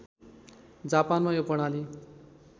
जापानमा यो प्रणाली